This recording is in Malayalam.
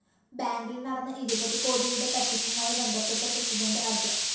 ബാങ്കില്‍ നടന്ന ഇരുപത് കോടിയുടെ തട്ടിപ്പുമായി ബന്ധപ്പെട്ട് പ്രസിഡന്റ് അഡ്വ